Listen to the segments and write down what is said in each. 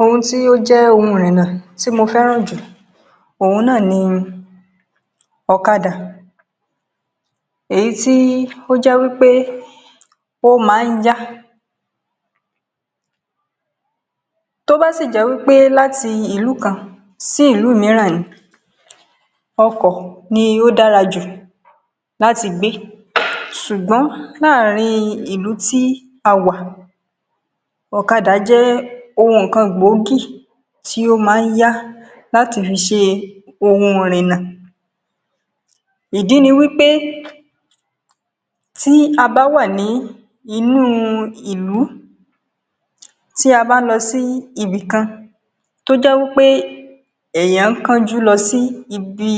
Ohun tí ó jẹ ohun ìrìnà tí mo fẹ́ràn jù, ohun náà ni òkádà. Èyí tí ó jẹ́ wipé ó máa ń yá, tó bá sì jẹ́ pé láti ìlú kan sí ìlú míìrán ni, ọkọ̀ ni ó dára jù láti gbé. Ṣùgbọ́n láàárín ìlú tí a wà, òkádà jẹ ohun nkán gbógi ti o máa ń yá lati fi sė ohun ìrìnà. Ìdí ni wipé, tí a bá wà nínú ìlú, tí a bá ń lọ sí ibìkan tí o jè wipe èèyàn kàn jù lọ sí ibi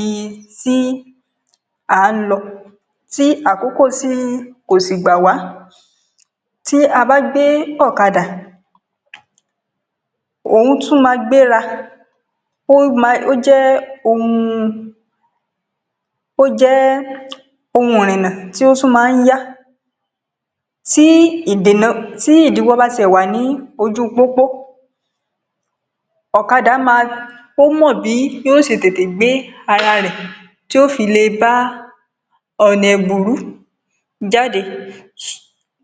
tí a ń lọ, tí àkókò kó sí gbà wá, tí a bá gbé òkádà, ohun tún máa gberá. Ó jẹ́ ohun ìrìnà tí ó máa ń yá; tí ìdìnà bá wà ní ojú pópó, òkádà mọ bí ó ṣe tete gbé ara rẹ̀, ti ó fi lè bá ọ̀nà ìgbúrù jáde.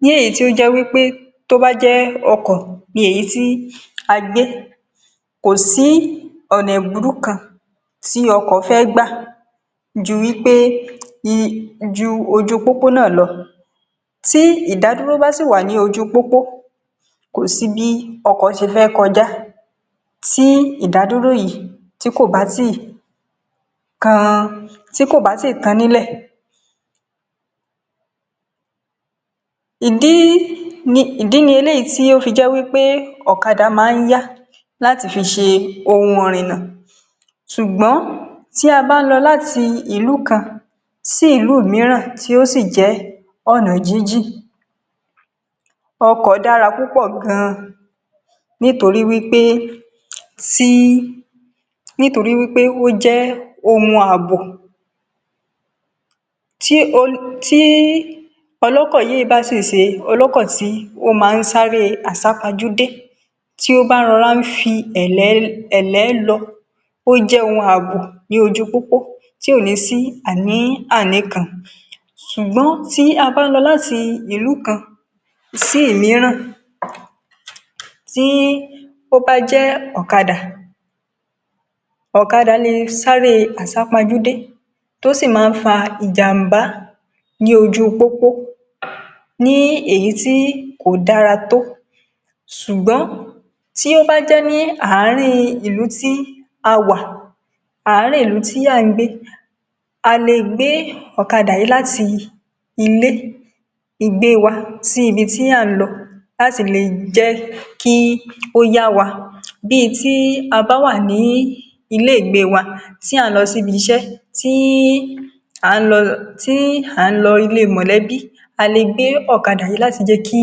léyi to je wipe, tó bá jẹ́ ọkọ̀ ni èyi ti a gbé, kò sí ọ̀nà ìgbúrù kan tí ọkọ̀ fe gba ju wipé kó gba ojú pópó náà lọ. Tí ìdádúró bá sì wà ní ojú pópó, kò sí bí ọkọ̀ ṣe fẹ́ kọjá tí ìdádúró yìí tí kò bá tíì tán nile. Ìdí ni èyí tó fi jẹ́ wipé òkádà maa ń yá láti fi ṣe ohun ìrìnà. Ṣùgbọ́n tí a bá ń lọ láti ìlú kan sí ìlú míìrán tí ó sì jẹ́ ọ̀nà jìjì, ọkọ̀ dára púpọ̀ gan-an, nítorí pé ó jẹ́ ohun àbò ní ojú pópó tí kò ní si àníyàn kankan. Ṣùgbọ́n tí a bá ń lọ láti ìlú kan sí ìlú míìrán, tí ó bá jẹ́ òkádà, òkádà lè sáré asapajùdé, tó sì máa ń fà ìjàmbá ní ojú pópó, nǹkan tí kò dára tó. Ṣùgbọ́n tí ó bá jẹ́ arin ìlú tí a wà, arin ìlú tí a ń gbé, a lè gbé òkádà yìí láti ilé-ìgbé wa, sí ibi tí a ń lọ, kí ó lè jẹ́ kí o yá wa. Bí a bá wà ní ilé-ìgbé wa, tí a ń lọ sí ibi-ìṣé tàbí sí ilé mọ́lẹ̀bí, a lè gbé òkádà kí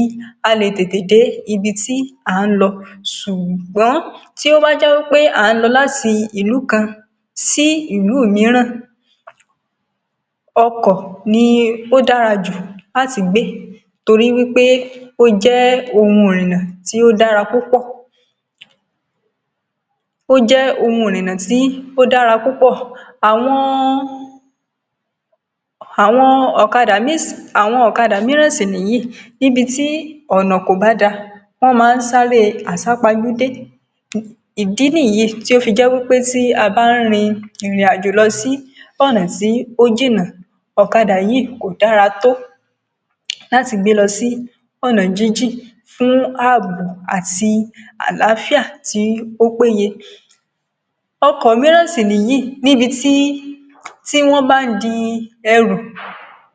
a lè tete dé ibi tí a ń lọ. Ṣùgbọ́n tí ó bá jẹ́ pé a ń lọ láti ìlú kan sí ìlú míìrán, ọkọ̀ ni ó dára jù láti gbé, nítorí pé ó jẹ́ ohun ìrìnà tí ó dára púpọ̀ o jè ohun abo ni ojupopo ti o ni si aní kánkán. Àwọn òkádà míìrán sì ni yìí níbi tí ọ̀nà kò bá dá, wọ́n máa ń sáré asapajùdé. Ìdí nìyí tó fi jẹ́ pé tí a bá ń rí ìrìnàjò sí ọ̀nà tí ó jìnà, òkádà yìí kò dára tó láti gbé lọ sí ọ̀nà jìnjin, fún ààbò àti àlàáfíà tí ó péye. Ọkọ̀ míìrán sì ni yìí, níbi tí wọ́n máa ń dì èrù,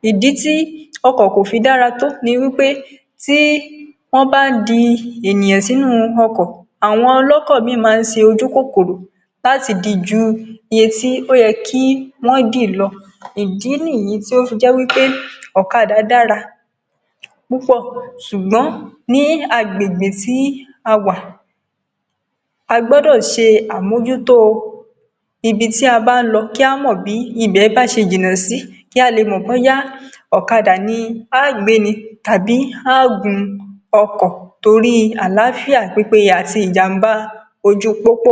ìdí tí ọkọ̀ kò fi dára tó. Tí wọ́n bá dì ènìyàn sí inú ọkọ̀, àwọn olọkọ̀ míìrán máa ń ṣe ojú kòkòrò, láti dì jù iye tí wọ́n yẹ kí wọ́n dì lọ. Ìdí nìyí tó fi jẹ́ pé òkádà dára púpọ̀, ṣùgbọ́n ní àgbègbè tí a wà, a gbọ́dọ̀ ṣe àmójútó ibi tí a bá ń lọ, kí a mọ bí ibẹ̀ ṣe jìnà sí, kí a lè mọ boya òkádà ni a máa gbé tàbí a máa gun ọkọ̀, tóri àlàáfíà pípẹ̀ yé ati ìjàmbá ojú pópó.